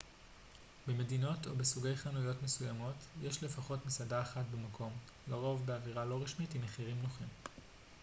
במדינות או בסוגי חנויות מסוימות יש לפחות מסעדה אחת במקום לרוב באווירה לא רשמית עם מחירים נוחים